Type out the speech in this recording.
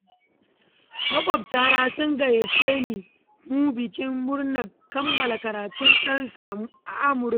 Maƙwabtana sun gayyaci mu bikin murnar kammala karatun ɗansu a Amurka.